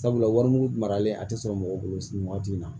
Sabula warimugu maralen a tɛ sɔrɔ mɔgɔw bolo sigi waati in na